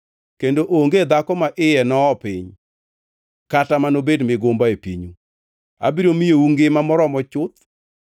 kendo onge dhako ma iye no-oo piny, kata manobed migumba e pinyu. Abiro miyou ngima moromo chuth.